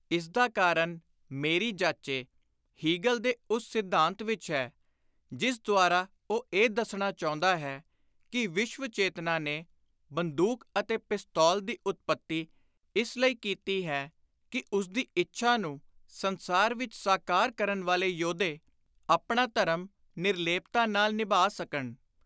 ਇਸਦਾ ਕਾਰਨ, ਮੇਰੀ ਜਾਚੇ, ਹੀਗਲ ਦੇ ਉਸ ਸਿੱਧਾਂਤ ਵਿਚ ਹੈ ਜਿਸ ਦੁਆਰਾ ਉਹ ਇਹ ਦੱਸਣਾ ਚਾਹੁੰਦਾ ਹੈ ਕਿ ‘ਵਿਸ਼ਵ ਚੇਤਨਾ’ ਨੇ ਬੰਦੁਕ ਅਤੇ ਪਿਸਤੌਲ (Gun) ਦੀ ਉਤਪੱਤੀ ਇਸ ਲਈ ਕੀਤੀ ਹੈ ਕਿ ਉਸਦੀ ਇੱਛਾ ਨੂੰ ਸੰਸਾਰ ਵਿਚ ਸਾਕਾਰ ਕਰਨ ਵਾਲੇ ਯੋਧੇ ਆਪਣਾ ਧਰਮ ਨਿਰਲੇਪਤਾ ਨਾਲ ਨਿਭਾ ਸਕਣ।